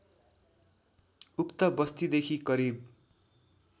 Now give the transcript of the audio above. उक्त बस्तीदेखि करिब